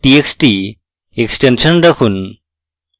txt extension রাখুন